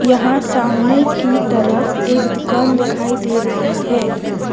यहां सामने की तरफ एक दुकान दिखाई दे रही है।